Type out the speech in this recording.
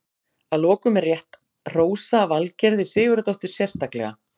Að lokum er rétt hrósa Valgerði Sigurðardóttur sérstaklega.